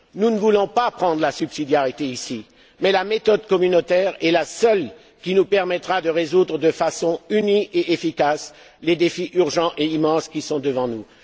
Nous ne voulons pas reprendre la subsidiarité ici, mais la méthode communautaire est la seule qui nous permettra de relever de façon unie et efficace les défis urgents et immenses qui sont devant nous.